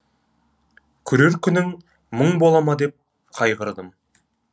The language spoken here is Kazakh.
көрер күнің мұң бола ма деп қайғырдым